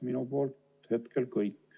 Minu poolt kõik.